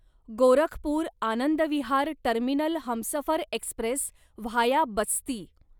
Gorakhpur Anand Vihar terminal Humsafar express via Basti